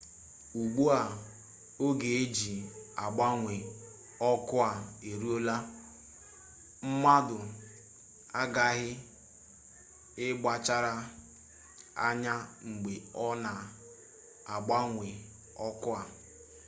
ugbu a oge e ji agbanwe ọkụ a eruola mmadụ aghaghị ịkpachara anya mgbe ọ na-agbanwe ọkụ a